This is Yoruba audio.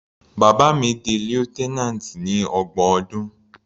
Bàbá mi di lieutenant ní ọgbọ̀n ọdún.